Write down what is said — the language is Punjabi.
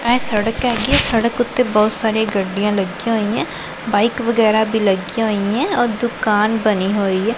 ਇਹ ਸੜਕ ਹੈਗੀ ਸੜਕ ਉੱਤੇ ਬਹੁਤ ਸਾਰੇ ਗੱਡੀਆਂ ਲੱਗੀਆਂ ਹੋਈਆਂ ਬਾਈਕ ਵਗੈਰਾ ਵੀ ਲੱਗੀਆਂ ਹੋਈਆ ਔਰ ਦੁਕਾਨ ਬਣੀ ਹੋਈ ਹੈ।